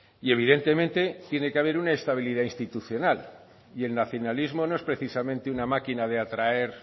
y evidentemente tiene que haber una estabilidad institucional y el nacionalismo no es precisamente una máquina de atraer